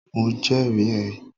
Mo jẹ́rì ẹ́